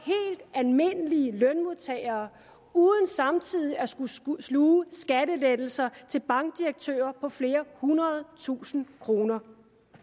almindelige lønmodtagere uden samtidig at skulle skulle sluge skattelettelser til bankdirektører på flere hundrede tusinde kroner